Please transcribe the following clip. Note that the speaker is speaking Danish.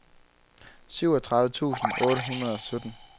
syvogtredive tusind otte hundrede og sytten